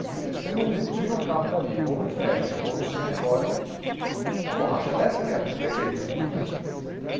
Se se se você não tira o carro dali, ou não fecha, ou não se recolhe, a borracha desce mesmo, não tem jeito.